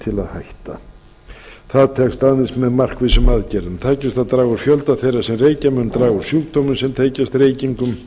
að hækka það tekst aðeins með markvissum aðgerðum tækist að draga úr fjölda þeirra sem reykja mun draga úr sjúkdómum sem tengjast reykingum